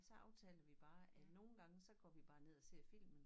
Så aftaler vi bare at nogen gange så går vi bare ned og ser filmen